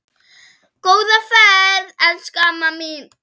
Góða ferð, elsku amma mín.